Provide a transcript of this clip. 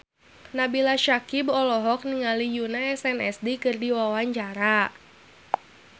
Nabila Syakieb olohok ningali Yoona SNSD keur diwawancara